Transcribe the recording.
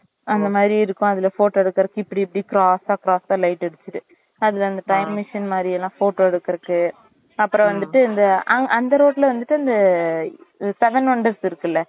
அந்த மாறி இருக்கும் அதுல photo எடுக்குறதுக்கு இப்டி இப்டி cross cross light அடிச்சிட்டு அதுல அந்த time machine மாறிலாம் photo எடுக்குறதுக்கு அப்புறம் வந்துட்டு இந்த அந்த அந்த road ல வந்துட்டு இந்த seven wonders இருக்குல